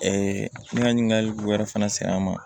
n ka ɲininkali wɛrɛ fana sera an ma